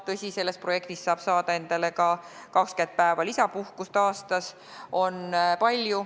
Tõsi, see projekt võimaldab ka 20 päeva lisapuhkust aastas.